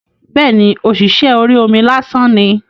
Bẹ́ẹ̀ni, ọ̀ṣìṣẹ́ orí omi lásán ni